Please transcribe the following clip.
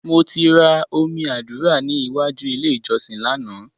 Mo ti ra omi àdúrà ní ìwájú ilé ìjọsìn lánàá.